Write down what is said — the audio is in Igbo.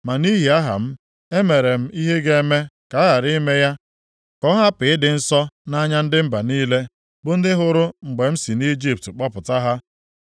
Ma nʼihi aha m, e mere m ihe ga-eme ka a ghara ime ya ka ọ hapụ ịdị nsọ nʼanya ndị mba niile, bụ ndị hụrụ mgbe m si Ijipt kpọpụta ha.